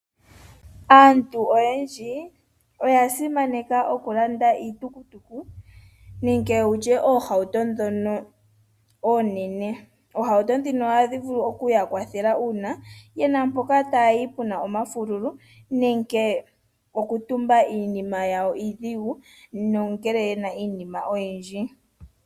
Aantu oyendji oya simaneka okulanda iitukutuku nenge wutye oohauto ndhono oonene. Oohauto ndhino ohadhi vulu okuya kwathela uuna ye na mpoka taya yi pu na omafululu nenge okutumba iinima yawo iidhigu nongele ye na iinima oyindji.